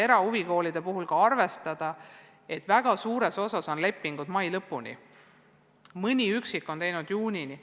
Erahuvikoolide puhul tuleb arvestada ka seda, et väga suures osas on lepingud sõlmitud mai lõpuni, mõni üksik on teinud juunini.